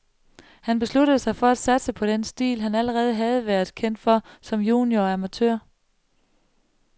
Han besluttede sig for at satse på den stil, han allerede havde været kendt for som junior og amatør.